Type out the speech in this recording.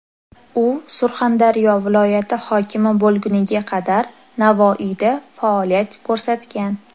U Surxondaryo viloyati hokimi bo‘lguniga qadar Navoiyda faoliyat ko‘rsatgan.